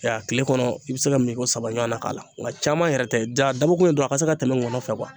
A tile kɔnɔ i bɛ se ka min ko saba ɲɔgɔn na k'a la nka caman yɛrɛ tɛ da a dabɔkun dɔrɔn a ka se ka tɛmɛ ŋɔnɔ fɛ